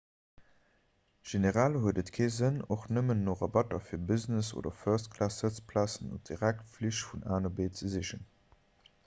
generell huet et kee sënn och nëmmen no rabatter fir business oder first-class-sëtzplazen op direktflich vun a no b ze sichen